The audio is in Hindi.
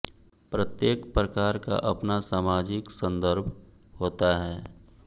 प्रत्येक प्रकार का अपना सामाजिक सन्दर्भ होता है